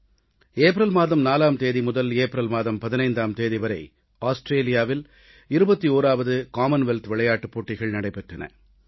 April மாதம் 4ஆம் தேதி முதல் ஏப்ரல் மாதம் 15ஆம் தேதி வரை ஆஸ்திரேலியாவில் 21ஆவது காமன்வெல்த் விளையாட்டுப் போட்டிகள் நடைபெற்றன